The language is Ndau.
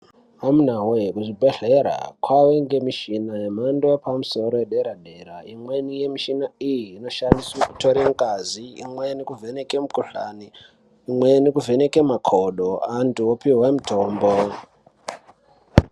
Amunawee kuzvibhedhlera kwavengemishina yemhando yepamusoro yedera-dera. Imweni yamushina iyi inoshandiswe kutore ngazi, imweni kuvheneke mikhuhlani, imweni kuvheneke makodo, antu opihwe mitombo.